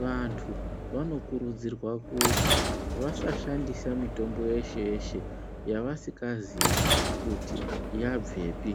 Vantu vanokurudzirwa kuti vasashandisa mitombo yeshe-yeshe yavasikazii kuti yabvepi.